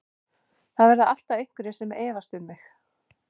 Það verða alltaf einhverjir sem efast um mig.